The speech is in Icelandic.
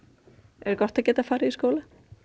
er gott að geta farið í skóla